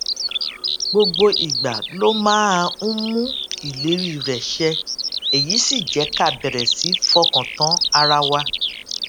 gbogbo ìgbà ló máa ń mú ìlérí rè ṣẹ èyí sì jé ká bèrè sí fọkàn tán ara wa